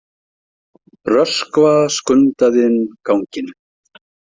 Röskva skundaði inn ganginn.